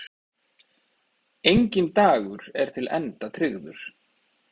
Enginn dagur er til enda tryggður.